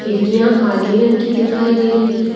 खिडकियां काले रंग की दिखाई दे रही है।